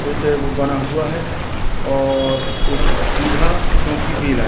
एक एगो बना हुआ है और एक पीढ़ा चौकी भी लाए--